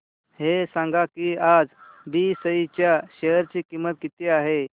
हे सांगा की आज बीएसई च्या शेअर ची किंमत किती आहे